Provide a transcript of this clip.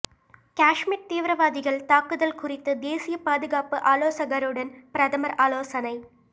காஷ்மீர் தீவிரவாதிகள் தாக்குதல் குறித்து தேசிய பாதுகாப்பு ஆலோசகருடன் பிரதமர் ஆலோசனை